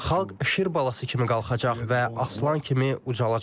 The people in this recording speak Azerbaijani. Xalq şir balası kimi qalxacaq və aslan kimi ucalacaq.